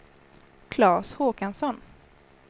Klas Håkansson